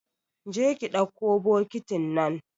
Kije ki dakko bokitin nan